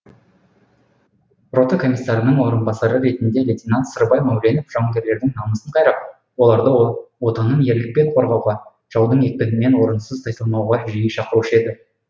рота комиссарының орынбасары ретінде лейтенант сырбай мәуленов жауынгерлердің намысын қайрап оларды отанын ерлікпен қорғауға жаудың екпінінен орынсыз тайсалмауға жиі шақырушы еді